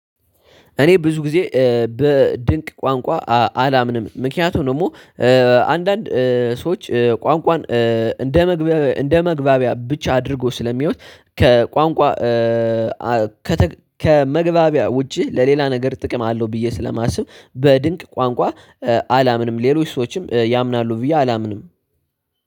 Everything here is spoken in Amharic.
እኔ ብዙ ጊዜ በድንቅ ቋንቋ አላምንም ምክንያቱም ደግሞ አንዳንድ ሰዎች ቋንቋን እንደ መግባቢያ እንደ መግባቢያ ብቻ አድርጎ ስለሚሆን ከቋንቋ ከመግባቢያ ውጪ ለሌላ ነገር ጥቅም አለው ብዬ ስለማስብ በድንቅ ቋንቋ አላምንም። ሌሎች ሰዎችም ያምናሉ ብዬ አላምንም።